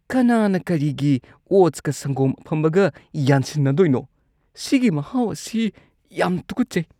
ꯀꯅꯥꯅ ꯀꯔꯤꯒꯤ ꯑꯣꯠꯁꯀ ꯁꯪꯒꯣꯝ ꯑꯐꯝꯕꯒ ꯌꯥꯟꯁꯤꯟꯅꯗꯣꯏꯅꯣ? ꯁꯤꯒꯤ ꯃꯍꯥꯎ ꯑꯁꯤ ꯌꯥꯝ ꯇꯨꯀꯠꯆꯩ꯫